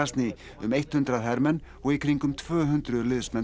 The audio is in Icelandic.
um eitt hundrað hermenn og í kringum tvö hundruð liðsmenn